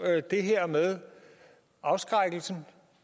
det her med afskrækkelsen